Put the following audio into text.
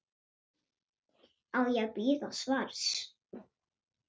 Á ég að bíða svars?